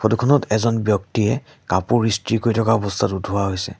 Photo খনত এজন ব্যক্তিয়ে কাপোৰ ইস্ত্ৰি কৰি থকাৰ অৱস্থাত উঠোৱা হৈছে।